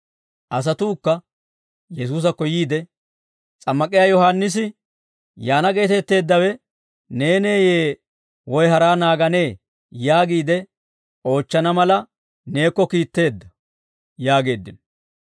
Asatuukka Yesuusakko yiide, «S'ammak'iyaa Yohaannisi, yaana geetetteeddawe neeneeyye? Woy haraa naaganee? Yaagiide oochchana mala neekko kiitteedda» yaageeddino.